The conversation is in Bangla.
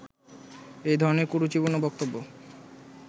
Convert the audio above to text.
এই ধরণের কুরুচিপূর্ণ বক্তব্য